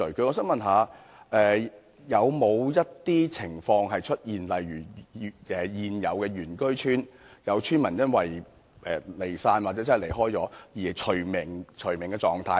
我想問有沒有出現過一些情況，例如現有原居村因有村民離散或離開而被除名的情況？